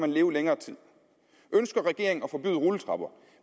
leve længere tid ønsker regeringen at forbyde rulletrapper